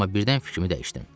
Amma birdən fikrimi dəyişdim.